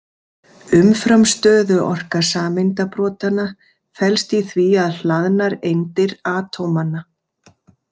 Umfram stöðuorka sameindabrotanna felst í því að hlaðnar eindir atómanna.